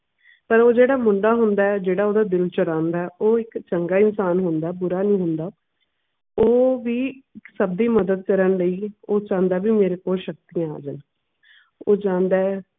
ਪਰ ਓਹ ਜਿਹੜਾ ਮੁੰਡਾ ਹੁੰਦਾ ਆ ਜਿਹੜਾ ਓਹਦਾ ਦਿਲ ਚੁਰਾਂਦਾ ਹੈ ਉਹ ਇੱਕ ਚੰਗਾ ਇਨਸਾਨ ਹੁੰਦਾ ਐ ਬੁਰਾ ਨਹੀਂ ਹੁੰਦਾ। ਉਹ ਵੀ ਸਭ ਦੀ ਮਦਦ ਕਰਨ ਲਈ ਉਹ ਚਾਉਂਦਾ ਵੀ ਮੇਰੇ ਕੋਲ ਸ਼ਕਤੀਆਂ ਆਜੇ।